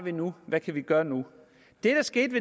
vi nu hvad kan vi gøre nu det der skete